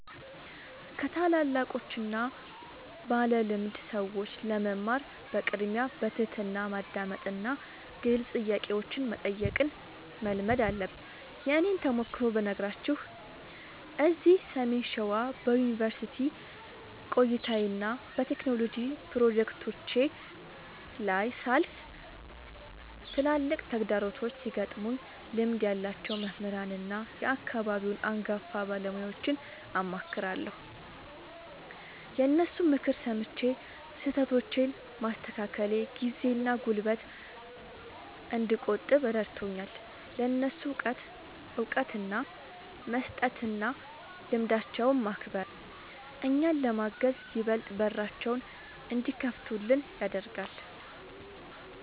ከታላላቆችና ባለልምድ ሰዎች ለመማር በቅድሚያ በትሕትና ማዳመጥንና ግልጽ ጥያቄዎችን መጠየቅን መልመድ አለብን። የእኔን ተሞክሮ ብነግራችሁ፤ እዚህ ሰሜን ሸዋ በዩኒቨርሲቲ ቆይታዬና በቴክኖሎጂ ፕሮጀክቶቼ ላይ ሳልፍ፣ ትላልቅ ተግዳሮቶች ሲገጥሙኝ ልምድ ያላቸውን መምህራንና የአካባቢውን አንጋፋ ባለሙያዎችን አማክራለሁ። የእነሱን ምክር ሰምቼ ስህተቶቼን ማስተካከሌ ጊዜና ጉልበት እንድቆጥብ ረድቶኛል። ለእነሱ እውቀት እውቅና መስጠትና ልምዳቸውን ማክበር፣ እኛን ለማገዝ ይበልጥ በራቸውን እንዲከፍቱልን ያደርጋል።